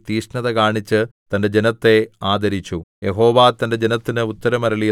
അങ്ങനെ യഹോവ തന്റെ ദേശത്തിന് വേണ്ടി തീക്ഷ്ണത കാണിച്ച് തന്റെ ജനത്തെ ആദരിച്ചു